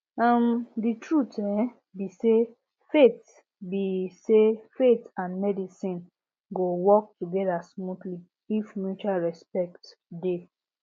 um the truth um be say faith be say faith and medicine go work together smoothly if mutual respect dey